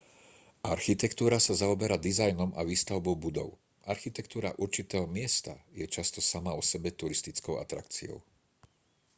architektúra sa zaoberá dizajnom a výstavbou budov architektúra určitého miesta je často sama o sebe turistickou atrakciou